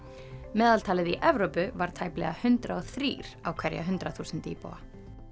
meðaltalið í Evrópu var tæplega hundrað og þrír á hverja hundrað þúsund íbúa